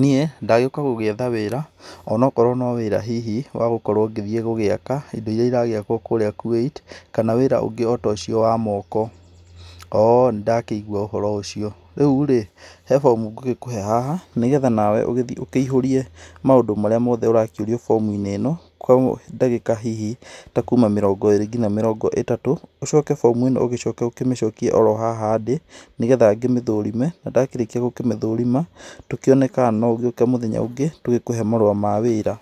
Niĩ ndagĩuka gũgĩetha wĩra, ona akorwo no wĩra hihi wa gũkorwo ngĩthiĩ gũgĩaka indo iria iragĩakwo kũrĩa Kuwait, kana wĩra ũngĩ o ta ũcio wa moko. Oo, nĩ ndakĩigua ũhoro ũcio, rĩu rĩ he bomu ngũgĩkũhe haha nĩgetha nawe ũgĩthiĩ ũkĩihũrie maũndũ marĩa mothe ũrakĩũrio bomu-inĩ ĩno, kũoguo ndagĩka hihi ta kuuma mĩrongo ĩrĩ nginya mĩrongo ĩtatũ, ũcoke bomu ĩno ũkĩmĩcokie haha ndĩ, nĩgetha ngĩmĩthũrime, na ndakĩrĩkia gũkĩmĩthũrima tũkĩone kana no ũgĩũke mũthenya ũngĩ tũgĩkũhe marũa ma wĩra.